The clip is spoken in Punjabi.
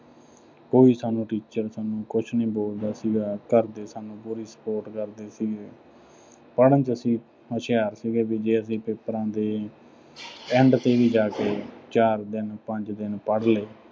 ਕੋਈ ਕੰਮ teacher ਸਾਨੂੰ ਕੁਝ ਨੀਂ ਬੋਲਦਾ ਸੀਗਾ। ਘਰ ਦੇ ਸਾਨੂੰ ਪੂਰੀ support ਕਰਦੇ ਸੀਗੇ। ਪੜ੍ਹਨ ਚ ਅਸੀਂ ਹੁਸ਼ਿਆਰ ਸੀਗੇ। ਵੀ ਜੇ ਅਸੀਂ papers ਦੇ end ਤੇ ਵੀ ਜਾ ਕੇ ਚਾਰ ਦਿਨ, ਪੰਜ ਦਿਨ ਪੜ੍ਹ ਲਏ।